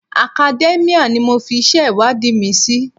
Academia ni mo fi iṣẹ́ ìwádìí mi sí.